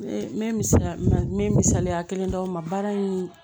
N bɛ misaliya n bɛ misaliya kelen d'aw ma baara in